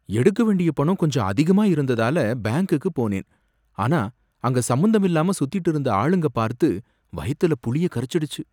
எடுக்க வேண்டிய பணம் கொஞ்சம் அதிகமா இருந்ததால பேங்க்குக்கு போனேன், ஆனா அங்க சம்பந்தமில்லாம சுத்திட்டு இருந்த ஆளுங்க பார்த்து வயத்துல புளிய கரைச்சுடுச்சு